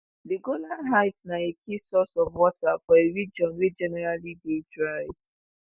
di golan heights na a key source of water for a region wey generally dey dry